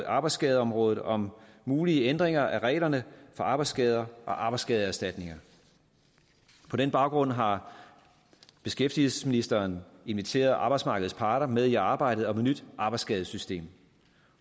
arbejdsskadeområdet om mulige ændringer af reglerne for arbejdsskader og arbejdsskadeerstatninger på den baggrund har beskæftigelsesministeren inviteret arbejdsmarkedets parter med i arbejdet om et nyt arbejdsskadesystem